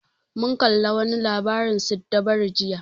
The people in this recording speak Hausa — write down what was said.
Mun kalla wa ni labarin siddabaru jiya